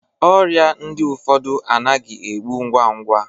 Ọrịa ndi ụfọdụ anaghị egbu ngwa ngwa